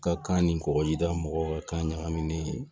Ka kan ni kɔgɔjida mɔgɔw ka kan ɲagaminen